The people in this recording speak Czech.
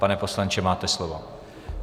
Pane poslanče, máte slovo.